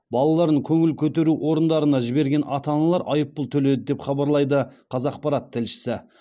балаларын көңіл көтеру орындарына жіберген ата аналар айыппұл төледі деп хабарлайды қазақпарат тілшісі